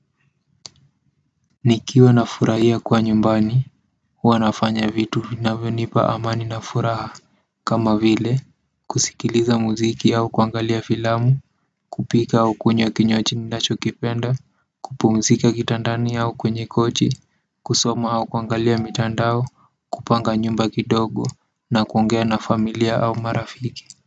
Nikiwa na furahia kuwa nyumbani, huwa nafanya vitu vinavyo nipa amani na furaha kama vile, kusikiliza muziki au kuangalia filamu, kupika au kunywa kinywaji ninachokipenda kupumzika kitandani au kwenye kochi, kusoma au kuangalia mitandao au kupanga nyumba kidogo, na kuongea na familia au marafiki kwa hivyo.